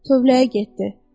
Tövləyə getdi.